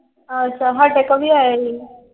ਅੱਛਾ। ਸਾਡੇ ਕੋਲ ਵੀ ਆਏ ਸੀ।